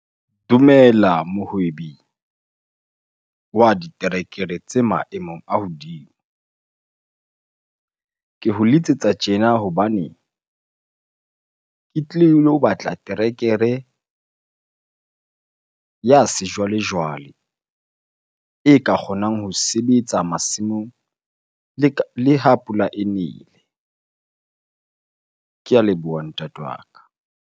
Dumela mohwebi wa diterekere tse maemong a hodimo. Ke ho letsetsa tjena hobane ke tlile ho batla terekere ya sejwalejwale e ka kgonang ho sebetsa masimong le ha pula e nele. Ke a leboha ntate wa ka.